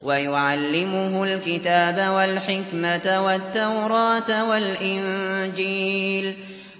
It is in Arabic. وَيُعَلِّمُهُ الْكِتَابَ وَالْحِكْمَةَ وَالتَّوْرَاةَ وَالْإِنجِيلَ